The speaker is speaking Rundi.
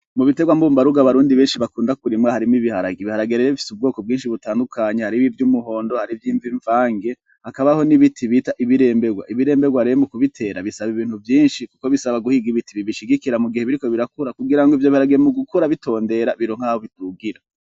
Mu bitrwa mumbarugo abarundi benshi bakunda kurima, harimwo ibiharage. Ibiharage rero bifise ubwoko butandukanye. Hariho ivy'umuhondo, hariho ivy'mvange, hakabaho n'ibiti bita ibiremberwa. Ibiremberwa rero mu kubitera bisaba ibintu vyinshi kuko bisaba guhiga ibiti bibishigikira mugihe biriko birakura. Kugira ngo ivyo biharage mu gukura bitondera bironke aho bidugira.